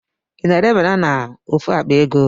I na-ere banana ofu akpa ego?